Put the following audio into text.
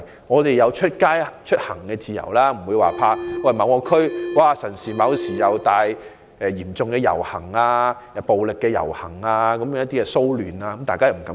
我們也要有出行的自由，不會因為擔心某地區可能有大型遊行、暴力或騷亂事件而不敢外出。